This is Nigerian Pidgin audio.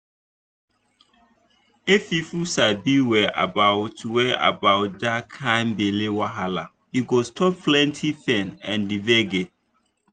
if people sabi well about well about that kind belle wahala e go stop plenty pain and gbege.